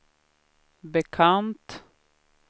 bekant